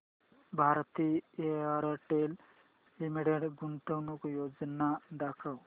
Bharti Airtel limited गुंतवणूक योजना दाखव